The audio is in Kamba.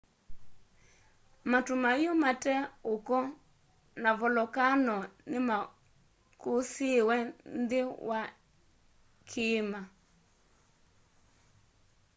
matu maiu mate uko na volokano ni makusiiiwe nthi wa i kiima